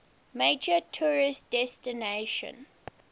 major tourist destination